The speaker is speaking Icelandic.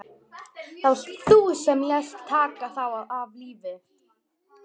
Það varst þú sem lést taka þá af lífi.